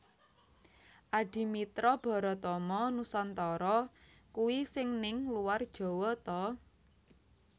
Adimitra Baratama Nusantara kui sing ning luar Jawa ta